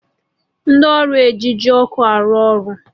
Ndị ọrụ eji ji ọkụ arụ ọrụ